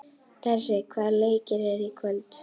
Bessi, hvaða leikir eru í kvöld?